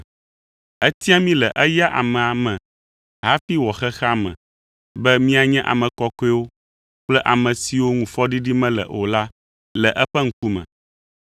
Etia mí le eya amea me hafi wɔ xexea me be míanye ame kɔkɔewo kple ame siwo ŋu fɔɖiɖi mele o la le eƒe ŋkume.